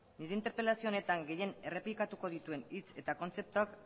nire interpelazio honetan gehien errepikatuko dituen hitz eta kontzeptuak